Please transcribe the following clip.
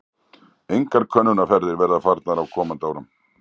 Fleiri könnunarferðir verða farnar á komandi árum.